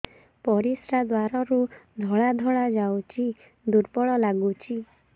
ପରିଶ୍ରା ଦ୍ୱାର ରୁ ଧଳା ଧଳା ଯାଉଚି ଦୁର୍ବଳ ଲାଗୁଚି